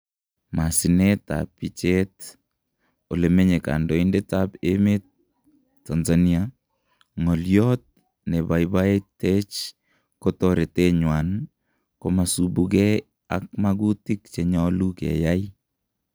Masineet ab picheet , olemenye kandoindet ab emeet, TANZANIA , "ng'olyot nebaibaitech ko toretenywan komasubukee ak makutiik chenyalu keyai.